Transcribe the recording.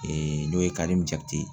n'o ye ye